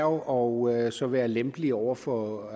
og så være lempelige over for